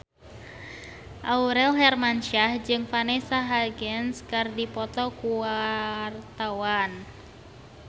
Aurel Hermansyah jeung Vanessa Hudgens keur dipoto ku wartawan